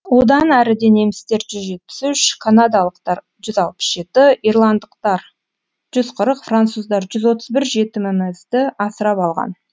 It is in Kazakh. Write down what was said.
одан әріде немістер жүз жетпіс үш канадалықтар жүз алпыс жеті ирландықтар жүз қырық француздар жүз отыз бір жетімімізді асырап алған